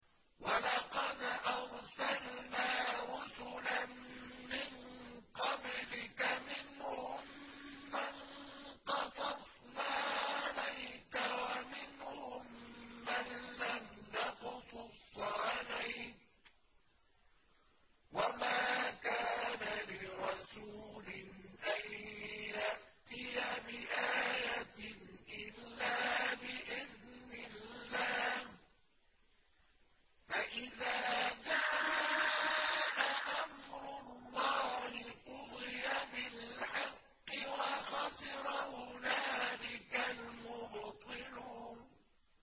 وَلَقَدْ أَرْسَلْنَا رُسُلًا مِّن قَبْلِكَ مِنْهُم مَّن قَصَصْنَا عَلَيْكَ وَمِنْهُم مَّن لَّمْ نَقْصُصْ عَلَيْكَ ۗ وَمَا كَانَ لِرَسُولٍ أَن يَأْتِيَ بِآيَةٍ إِلَّا بِإِذْنِ اللَّهِ ۚ فَإِذَا جَاءَ أَمْرُ اللَّهِ قُضِيَ بِالْحَقِّ وَخَسِرَ هُنَالِكَ الْمُبْطِلُونَ